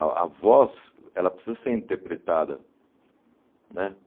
A a voz, ela precisa ser interpretada, né?